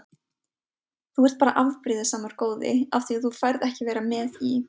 Þú ert bara afbrýðisamur góði af því að þú færð ekki að vera með í